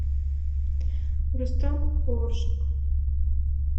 рустам оржик